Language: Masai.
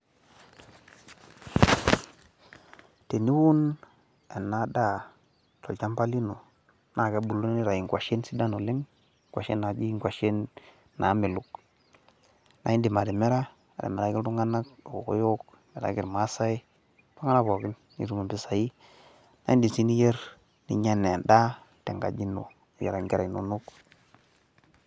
Teniun ena daa te lchamba lino naa kebulu neitai ngoshen sidan oleng, ngoshen enaaji ngoshen naamelok ,naa indim atimira atimiraki ltunganak lkokoyok, imiraki ilmaasai ,ltungana pookin nitum mpesai naa indiim si niyer ninya enaa endaa te enkaji ino, niyeraki inkera inono.